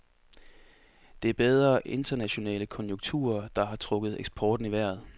Det er bedre internationale konjunkturer, der har trukket eksporten i vejret.